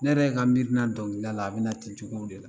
Ne yɛrɛ ka mirina dɔnkili da la bɛna ten cogow de la